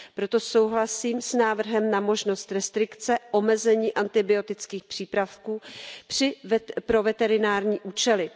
Proto souhlasím s návrhem na možnost restrikce, omezení antibiotických přípravků pro veterinární účely.